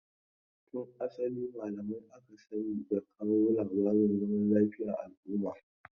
Tun asali malamai aka sani da kawo labarin zaman lafiya a al'umma.